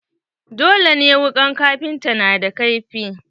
Dole ne wuƙan kafinta na da kaifi.